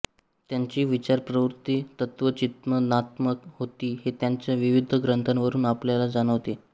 त्यांची विचारप्रवृत्ती तत्त्वचिन्तनात्मक होती हे त्यांच्या विविध ग्रंथांवरून आपल्याला जाणवते